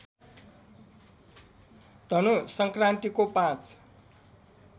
धनु सङ्क्रान्तिको ५